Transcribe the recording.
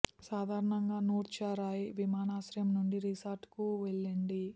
సాధారణంగా నూర్చా రాయ్ విమానాశ్రయం నుండి రిసార్ట్ కు వెళ్ళండి